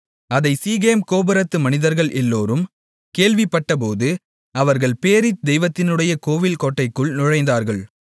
அதைச் சீகேம் கோபுரத்து மனிதர்கள் எல்லோரும் கேள்விப்பட்டபோது அவர்கள் பேரீத் தெய்வத்தினுடைய கோவில் கோட்டைக்குள் நுழைந்தார்கள்